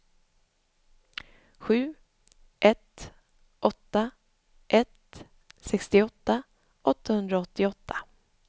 sju ett åtta ett sextioåtta åttahundraåttioåtta